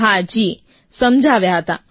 હા જી સમજાવ્યા હા જી